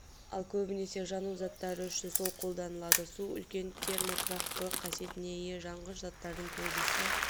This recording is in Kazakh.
ал көбінесе жану заттары үшін су қолданылады су үлкен термо тұрақтылық қасиетіне ие жанғыш заттардың көбісі